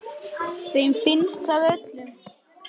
Þeim finnst það öllum.